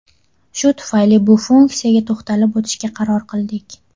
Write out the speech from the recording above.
Shu tufayli bu funksiyaga to‘xtalib o‘tishga qaror qildik.